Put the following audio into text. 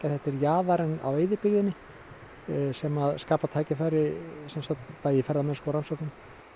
þetta er jaðarinn á eyðibyggðinni sem skapar tækifæri í ferðamennsku og rannsóknum